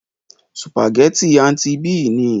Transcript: Sùpàgétì "Aunty B" ni.